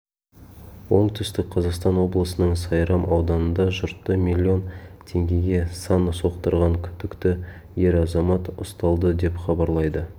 оңтүстік қазақстан облысының сайрам ауданында жұртты миллион теңгеге сан соқтырған күдікті ер азамат ұсталды деп хабарлайды